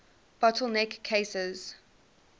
bottle neck cases